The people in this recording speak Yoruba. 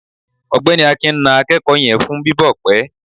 ọgbẹni akín na akeko yen fun bibọ pẹ